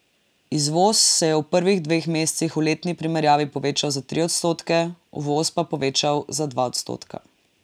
Izvoz se je v prvih dveh mesecih v letni primerjavi povečal za tri odstotke, uvoz pa povečal za dva odstotka.